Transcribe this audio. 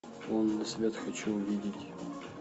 лунный свет хочу увидеть